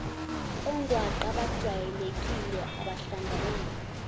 ongwaqa abajwayelekile abahlanganayo